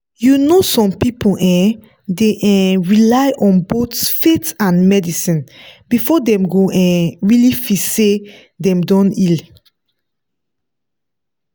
you know some people um dey um rely on both faith and medicine before dem go um really feel say dem don heal.